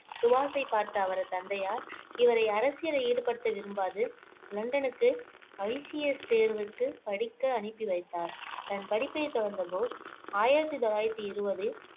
சுபாஷை பார்த்த அவரது தந்தையார் இவரை அரசியலில் ஈடுபடுத்த விரும்பாது லண்டனுக்கு ICS தேர்வுக்கு படிக்க அனுப்பி வைத்தார் தன் படிப்பை தொடர்ந்த போஸ் ஆயிரத்தி தொள்ளாயிரத்தி இருவதில்